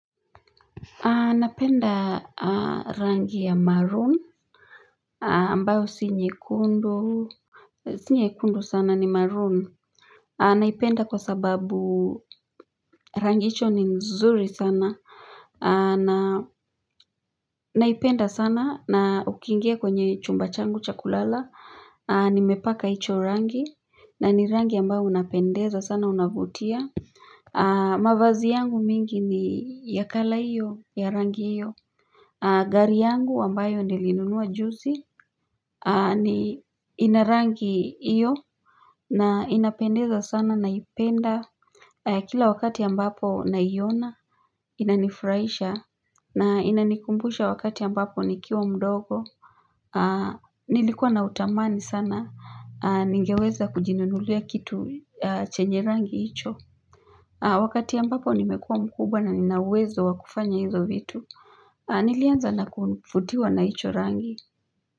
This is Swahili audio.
Napenda rangi ya maroon ambayo si nyekundu si nyekundu sana ni maroon Naipenda kwa sababu rangi hicho ni nzuri sana Naipenda sana na ukiingia kwenye chumba changu cha kulala nimepaka hicho rangi na ni rangi ambayo unapendeza sana unavutia mavazi yangu mingi ni ya colour hiyo ya rangi hiyo. Gari yangu ambayo niliinunua juzi ina rangi hiyo na inapendeza sana naipenda kila wakati ambapo naiona inanifurahisha na inanikumbusha wakati ambapo nikiwa mdogo nilikuwa na utamani sana ningeweza kujinunulia kitu chenye rangi hicho. Wakati ambapo nimekuwa mkubwa na nina uwezo wa kufanya hizo vitu, nilianza na kuvutiwa na hicho rangi.